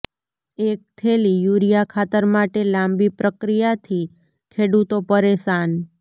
એક થેલી યુરિયા ખાતર માટે લાંબી પ્રક્રિયાથી ખેડૂતો પરેશાન